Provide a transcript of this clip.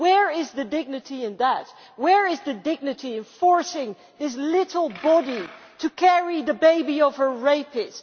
Where is the dignity in that? Where is the dignity of forcing this little body to carry the baby of her rapist?